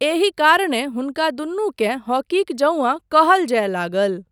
एहि कारणेँ हुनका दुनूकेँ हॉकीक जौंआ कहल जाय लागल।